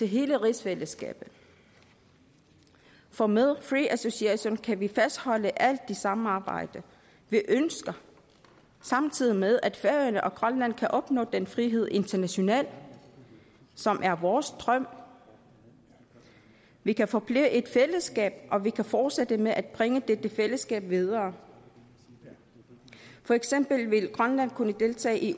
hele rigsfællesskabet for med free association kan vi fastholde alt det samarbejde vi ønsker samtidig med at færøerne og grønland kan opnå den frihed internationalt som er vores drøm vi kan forblive et fællesskab og vi kan fortsætte med at bringe dette fællesskab videre for eksempel vil grønland kunne deltage i